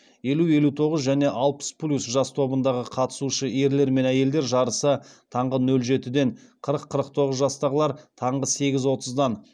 елу елу тоғыз және алпыс плюс жас тобындағы қатысушы ерлер мен әйелдер жарысы таңғы нөл жетіден қырық қырық тоғыз жастағылар таңғы сегіз отыздан